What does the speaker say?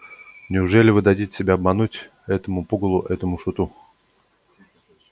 неужели вы дадите себя обмануть этому пугалу этому шуту